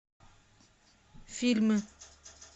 фильмы